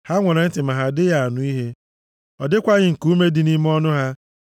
Ha nwere ntị ma ha adịghị anụ ihe, ọ dịkwaghị nkuume dị nʼime ọnụ ha.